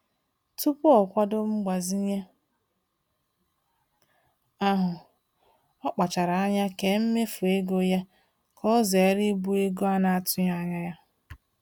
Tupu o kwado mgbazinye ahụ, ọ kpachara anya kee mmefu ego ya ka o zere ibu ego a na-atụghị anya ya.